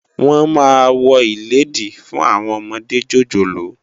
Wòn má wò ilédí fún áwòn òmòdé jójólóò